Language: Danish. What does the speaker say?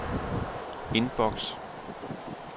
indboks